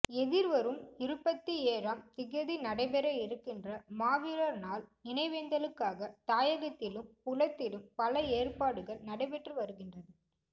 எதிர்வரும் இருபத்தி ஏழாம் திகதி நடைபெற இருக்கின்ற மாவீரர் நாள் நினைவேந்தலுக்காக தாயகத்திலும் புலத்திலும் பல ஏற்பாடுகள் நடைபெற்று வருகின்றது